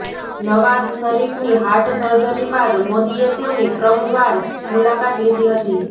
નવાઝ શરીફની heart surgery બાદ મોદીએ તેમની પ્રમવાર મુલાકાત લીધી હતી